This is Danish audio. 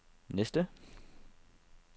næste